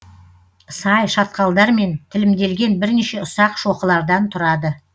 сай шатқалдармен тілімделген бірнеше ұсақ шоқылардан тұрады